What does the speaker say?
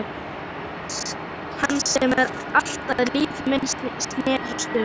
Hans sem allt líf mitt snerist um.